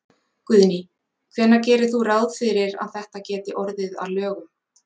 Guðný: Hvenær gerir þú ráð fyrir að þetta geti orðið að lögum?